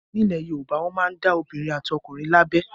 Nílẹ̀ Yorùbá, wọn máa ń dá obìnrin àti ọkùnrin lábẹ.